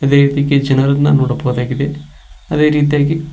ಇದೇ ರೀತಿಗೆ ಜನರನ್ನ ನೋಡಬಹುದಾಗಿದೆ ಅದೇ ರೀತಿಯಾಗಿ--